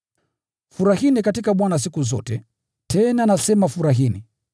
Furahini katika Bwana siku zote, tena nasema furahini!